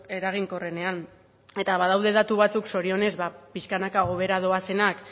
eraginkorrenean eta badaude datu batzuk zorionez pixkanaka hobera doazenak